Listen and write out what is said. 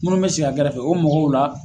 Munnu bɛ sigi a gɛrɛfɛ o mɔgɔw la.